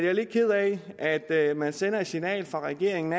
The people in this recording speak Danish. er lidt ked af at at man sender et signal fra regeringen